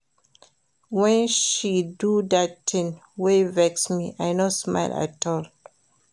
Wen she do dat tin wey vex me, I no smile at all.